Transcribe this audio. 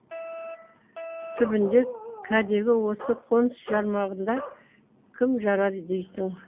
түбінде кәдегі осы қоныс жармағанда кім жарар дейсің